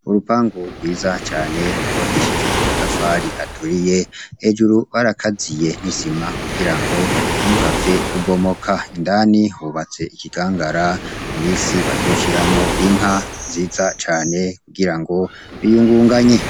Urupangu rwiza cane rwubakishije amatafari aturiye, hejuru barakaziye nisima kugirango ntiruhave rubomoka, indani hubatse ikigangara mu minsi bazoshiramwo inka nziza cane kugirango biyungunganye.